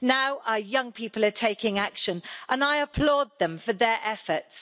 Now our young people are taking action, and I applaud them for their efforts.